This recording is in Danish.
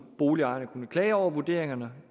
boligejerne kunne klage over vurderingerne